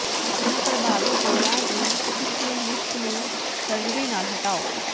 ਆਪਣੇ ਪ੍ਰਭਾਵੀ ਜੋੜਾਂ ਦੀ ਸੂਖਮ ਲਿਸ਼ਕ ਨੂੰ ਸਰਜਰੀ ਨਾਲ ਹਟਾਓ